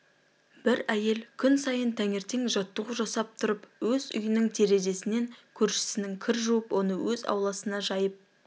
бір әйел күн сайын таңертең жаттығу жасап тұрып өз үйінің терезесінен көршісінің кір жуып оны өз ауласына жайып